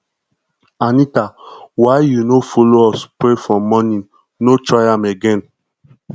anita why you no follow us pray for morning no try am again